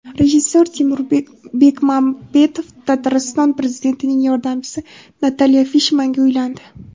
Rejissyor Timur Bekmambetov Tatriston prezidentining yordamchisi Natalya Fishmanga uylandi.